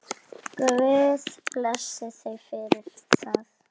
Guð blessi þau fyrir það.